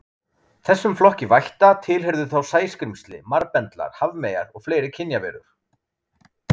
Þessum flokki vætta tilheyrðu þá sæskrímsli, marbendlar, hafmeyjar og fleiri kynjaverur.